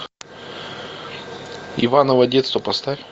иваново детство поставь